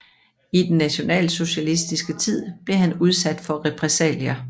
I den nationalsocialistiske tid blev han udsat for repressalier